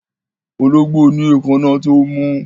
Ológbò ní èkáná tó mú